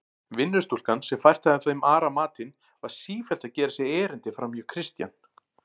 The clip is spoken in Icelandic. Vinnustúlkan, sem fært hafði þeim Ara matinn, var sífellt að gera sér erindi framhjá Christian.